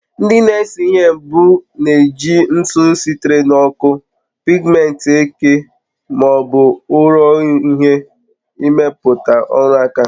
Ndị na-ese ihe mbụ na-eji ntụ sitere na ọkụ, pigmenti eke ma ọ bụ ụrọ uhie imeputa oru aka ha